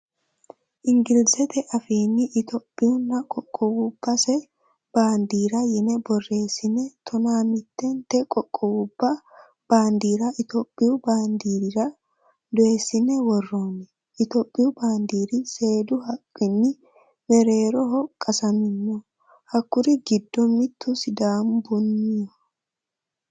Ingilizete afiinni itiyoophiyunna qoqquwabbase baandiira yine borreessine tonaa mittente qoqquwubba baandiira itiyoophiyu baandiirira dooyissine worroonni. Itiyoophiyu baandiiri seedu haqqunni mereeroho qasamino. Hakkuri giddo mittu sidaamubbiho.